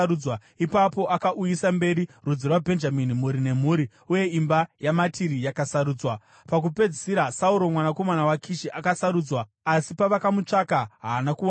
Ipapo akauyisa mberi rudzi rwaBhenjamini, mhuri nemhuri, uye imba yaMatiri yakasarudzwa. Pakupedzisira, Sauro mwanakomana waKishi akasarudzwa. Asi pavakamutsvaka haana kuwanikwa.